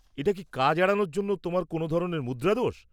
এটা কি কাজ এড়ানোর জন্য তোমার কোনও ধরণের মুদ্রাদোষ?